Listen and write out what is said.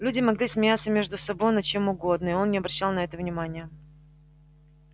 люди могли смеяться между собой над чем угодно и он не обращал на это внимания